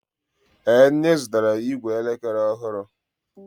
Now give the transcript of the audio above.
Ee, nne zụtara ìgwè elekere ọhụrụ